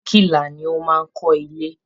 Birikila ni ó máa ń kó ilé.